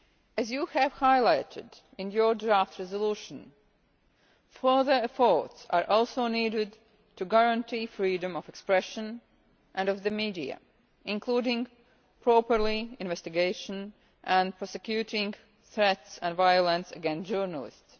As you have highlighted in your draft resolution, further efforts are also needed to guarantee freedom of expression and of the media, including properly investigating and prosecuting threats and violence against journalists.